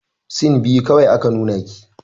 Sin biyu kawai aka nuna ki.